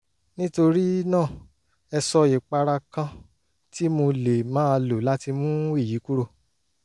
nítorí náà ẹ sọ ìpara kan tí mo lè máa lò láti mú èyí kúrò